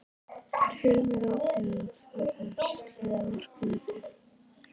Er Hilmar Árni að fara að slá markametið?